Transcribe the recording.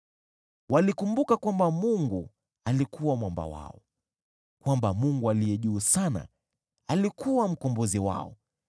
Walikumbuka kwamba Mungu alikuwa Mwamba wao, kwamba Mungu Aliye Juu Sana alikuwa Mkombozi wao.